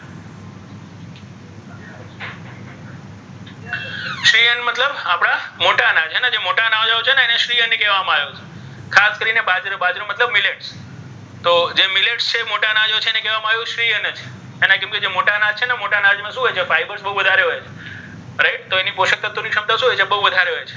કહેવામાં આવ્યો છે. ખાસ કરીને બાજરી બાજરો મતલબ મીલેટ્સ છે. મોટા ન જો છે એને કહેવામાં આવે છે શ્રી અન્ન કેમ કે આજે મોટા અનાજ છે ને મોટા અનાજ માં શું હોય છે? fibers બહુ વધારે હોય છે. right તો એની પોષક તત્વોની ક્ષમતા શું હોય છે? બહુ વધારે હોય છે.